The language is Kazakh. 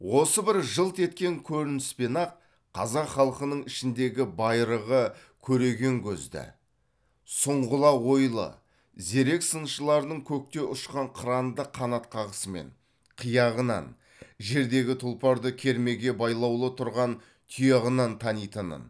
осы бір жылт еткен көрініспен ақ қазақ халқының ішіндегі байырғы көреген көзді сұңғыла ойлы зерек сыншыларының көкте ұшқан қыранды қанат қағысымен қияғынан жердегі тұлпарды кермеге байлаулы тұрған тұяғынан танитынын